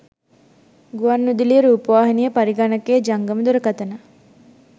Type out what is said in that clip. ගුවන් විදුලිය රූපවාහිනිය පරිගණකය ජංගම දුරකථන